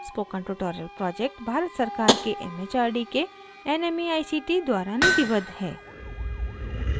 spoken tutorial project Bharat सरकार के MHRD के nmeict द्वारा निधिबद्ध है